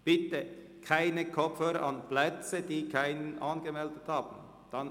Bitte stecken Sie keine Kopfhörer an Plätzen ein, die nicht angemeldet sind.